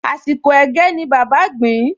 Àsìkò ẹ̀gẹ́ ni bàbá gbìn-ín